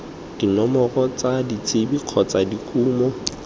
dinomoro tsa ditsebe kgotsa dikumo